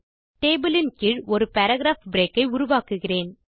table இன் கீழ் ஒரு பாராகிராப் பிரேக் ஐ உருவாக்குகிறேன்